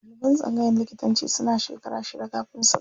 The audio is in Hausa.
Ɗaliban tsangayan likitanci suna shekara shida kafin su gama.